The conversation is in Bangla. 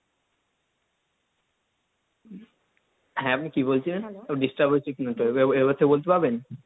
হ্যাঁ আপনি কি বলছিলেন একবার disturb হচ্ছে কিনা তো, এবার সে বলতে পারবেন?